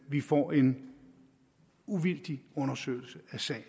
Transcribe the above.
vi får en uvildig undersøgelse af sagen